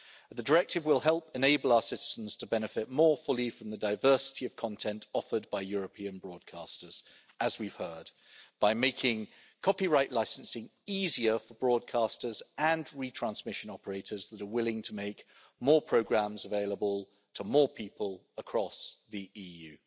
The Directive will help enable our citizens to benefit more fully from the diversity of content offered by European broadcasters, as we've heard, by making copyright licensing easier for broadcasters and retransmission operators that are willing to make more programmes available to more people across the EU.